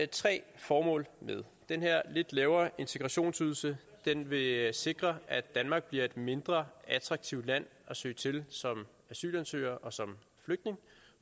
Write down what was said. tre formål med den her lidt lavere integrationsydelse vil sikre at danmark bliver et mindre attraktivt land at søge til som asylansøger og som flygtning